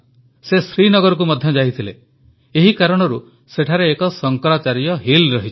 ସେ ଶ୍ରୀନଗରକୁ ମଧ୍ୟ ଯାଇଥିଲେ ଏହି କାରଣରୁ ସେଠାରେ ଏକ ଶଙ୍କରାଚାର୍ଯ୍ୟ ହିଲ୍ ରହିଛି